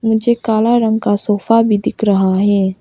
मुझे कल रंग का सोफा भी दिख रहा है।